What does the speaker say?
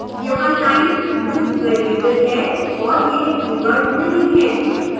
यहाँ line loop variable है और यह कीवर्ड नहीं है